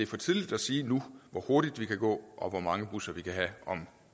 for tidligt at sige nu hvor hurtigt vi kan gå og hvor mange busser vi kan have om